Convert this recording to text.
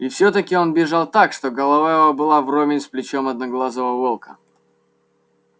и все таки он бежал так что голова его была вровень с плечом одноглазого волка